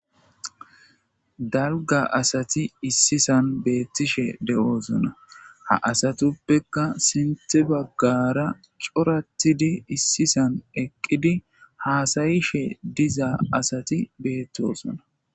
Dalga asati issisan beettishe de'oosona ha asatuppekka sinte baggara coratidi issisan eqqidi haasayishe dizaa asati beettosona.